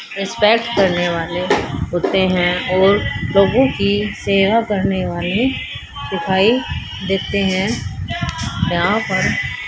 respect करने वाले होते है और लोगों की सेवा करने वाले दिखाई देते हैं यहां पर--